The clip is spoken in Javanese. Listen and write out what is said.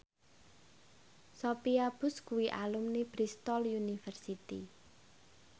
Sophia Bush kuwi alumni Bristol university